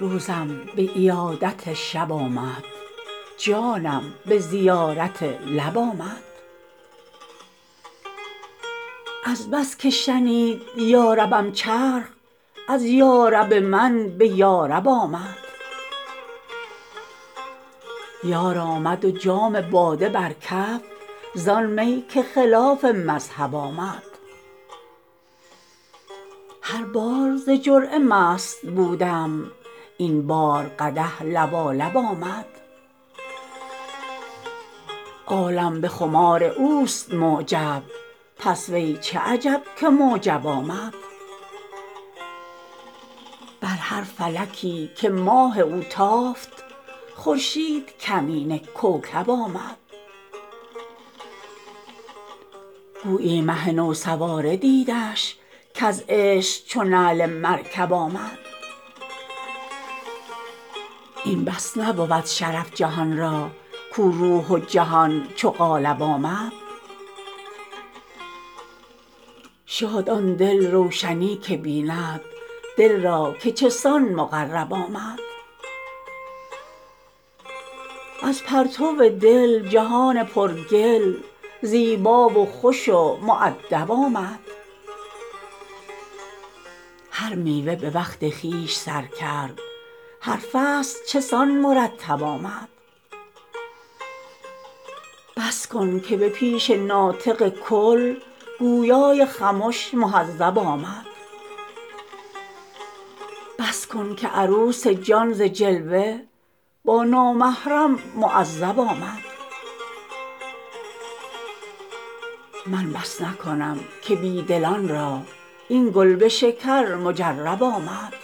روزم به عیادت شب آمد جانم به زیارت لب آمد از بس که شنید یاربم چرخ از یارب من به یارب آمد یار آمد و جام باده بر کف زان می که خلاف مذهب آمد هر بار ز جرعه مست بودم این بار قدح لبالب آمد عالم به خمار اوست معجب پس وی چه عجب که معجب آمد بر هر فلکی که ماه او تافت خورشید کمینه کوکب آمد گویی مه نو سواره دیدش کز عشق چو نعل مرکب آمد این بس نبود شرف جهان را کو روح و جهان چو قالب آمد شاد آن دل روشنی که بیند دل را که چه سان مقرب آمد از پرتو دل جهان پرگل زیبا و خوش و مؤدب آمد هر میوه به وقت خویش سر کرد هر فصل چه سان مرتب آمد بس کن که به پیش ناطق کل گویای خمش مهذب آمد بس کن که عروس جان ز جلوه با نامحرم معذب آمد من بس نکنم که بی دلان را این کلبشکر مجرب آمد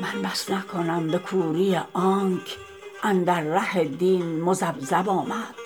من بس نکنم به کوری آنک اندر ره دین مذبذب آمد خامش که به گفت حاجتی نیست چون جذب فرغت فانصب آمد خود گفتن بنده جذب حقست کز بنده به بنده اقرب آمد